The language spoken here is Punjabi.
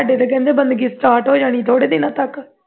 ਸਾਡੇ ਤੇ ਕਹਿੰਦੇ ਬੰਦਗੀ start ਹੋ ਜਾਣੀ ਥੋੜੇ ਦਿਨਾਂ ਤੱਕ